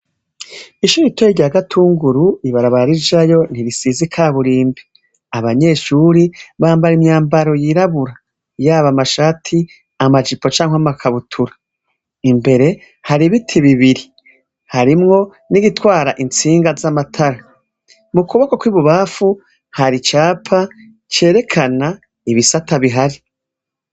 Ishuri ritoya rya Gatunguru, Ibarabara rijayo ntirisize ikaburimbi. Abanyeshure bambara imyambaro yirabura. Yab’amashati , amajipo cank’amakabutura. Imbere, haribiti bibiri, harimwo nigitwara intsinga z’amatara. Mukuboko kw’ibubanfu har’icapa cerekana ibisata bihari.